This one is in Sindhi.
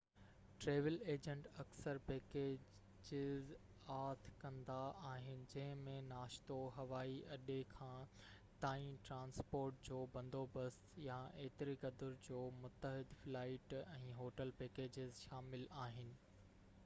ٽريول ايجنٽ اڪثر پيڪيجز آڇ ڪندا آهن جنهن ۾ ناشتو، هوائي اڏي کان/تائين ٽرانسپورٽ جو بندوبست يا ايتري قدر جو متحد فلائيٽ ۽ هوٽل پيڪيجز شامل آهن